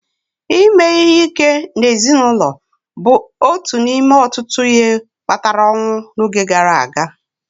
Ime ihe ike n'ezinụlọ bụ otu n'ime ọtụtụ ihe kpatara ọnwụ n'oge gara aga